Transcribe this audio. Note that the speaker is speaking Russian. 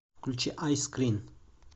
включи айскрин